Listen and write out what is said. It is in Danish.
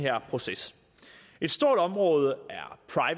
proces et stort område